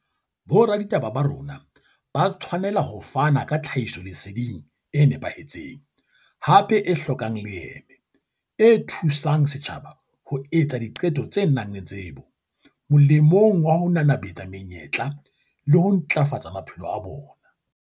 Boraditaba ba rona ba tshwanela ho fana ka tlhahisoleseding e nepahetseng, hape e hlokang leeme, e thu sang setjhaba ho etsa diqeto tse nang le tsebo, molemong wa ho nanabetsa menyetla le ho ntlafatsa maphelo a bona.